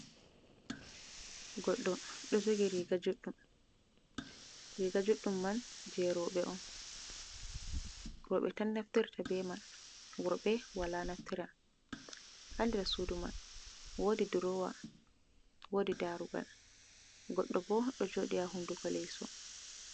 Goɗɗo, ɗo jogi riga juɗɗum, riga juɗɗum man je roɓe on, roɓe tan naftirta be man, worɓe wala naftira, ha nɗer sudu man, wodi durowa, wodi darugal, goɗɗo ɓo ɗo joɗi ha hunduko leso.